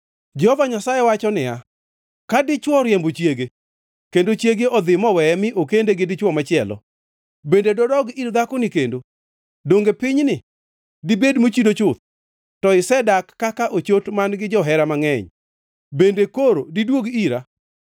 Jehova Nyasaye wacho niya, “Ka dichwo oriembo chiege kendo chiege odhi moweye mi okende gi dichwo machielo, bende dodog ir dhakoni kendo? Donge pinyni dibed mochido chuth? To isedak kaka ochot man-gi johera mangʼeny bende koro diduog ira?